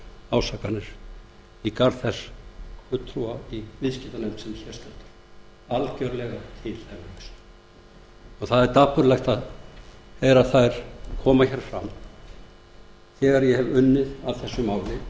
eru algjörlega tilhæfulausar ásakanir í garð þess fulltrúa í viðskiptanefnd sem hér stendur það er dapurlegt að heyra þær koma hér fram þegar ég hef unnið að þessu máli